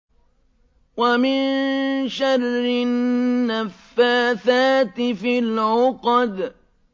وَمِن شَرِّ النَّفَّاثَاتِ فِي الْعُقَدِ